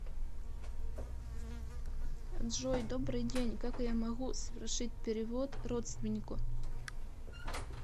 джой добрый день как я могу совершить перевод родственнику